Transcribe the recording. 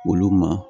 Olu ma